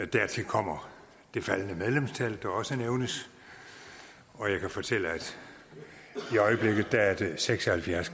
dertil kommer det faldende medlemstal som også nævnes og jeg kan fortælle at er det seks og halvfjerds